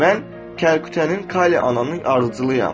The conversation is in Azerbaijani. Mən Kəlkütənin Kali ananın ardıcılıyam.